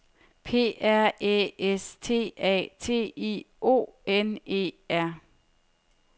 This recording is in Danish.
P R Æ S T A T I O N E R